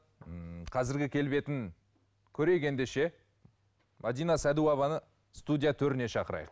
м қазіргі келбетін көрейік ендеше мәдина садуованы студия төріне шақырайық